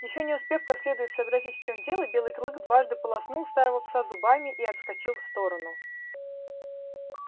ещё не успев как следует сообразить в чем дело белый клык дважды полоснул старого пса зубами и отскочил в сторону